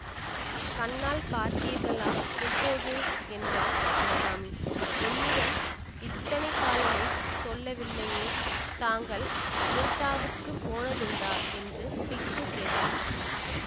கண்ணால் பார்த்தீர்களா எப்போது என்றாள் சிவகாமி என்னிடம் இத்தனை காலமும் சொல்லவில்லையே தாங்கள் அஜந்தாவுக்குப் போனதுண்டா என்று பிக்ஷு கேட்டார்